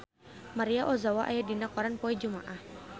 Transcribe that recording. Maria Ozawa aya dina koran poe Jumaah